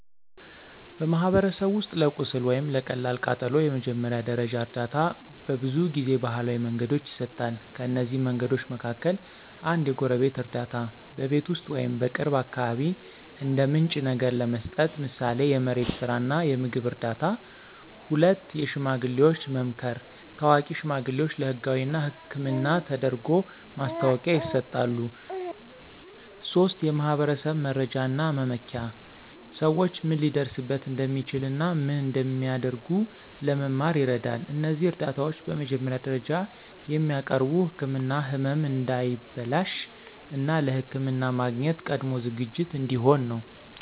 በማኅበረሰብ ውስጥ ለቁስል ወይም ለቀላል ቃጠሎ የመጀመሪያ ደረጃ እርዳታ በብዙ ጊዜ ባህላዊ መንገዶች ይሰጣል። ከእነዚህ መንገዶች መካከል፦ 1. የጎረቤት እርዳታ – በቤት ውስጥ ወይም በቅርብ አካባቢ እንደ ምንጭ ነገር ለመስጠት፣ ምሳሌ የመሬት ስራ እና የምግብ እርዳታ። 2. የሽማግሌዎች መምከር – ታዋቂ ሽማግሌዎች ለህጋዊ እና ሕክምና ተደርጎ ማስታወቂያ ይሰጣሉ። 3. የማኅበረሰብ መረጃ እና መመኪያ – ሰዎች ምን ሊደርስበት እንደሚችል እና ምን እንደሚያደርጉ ለመማር ይረዳል። እነዚህ እርዳታዎች በመጀመሪያ ደረጃ የሚያቀርቡ ምክንያት ህመም እንዳይበላሽ፣ እና ለሕክምና ማግኘት ቀድሞ ዝግጅት እንዲሆን ነው።